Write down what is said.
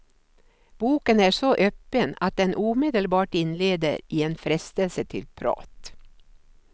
Boken är så öppen att den omedelbart inleder i en frestelse till prat.